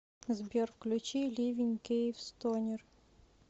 сбер включи ливень киевстонер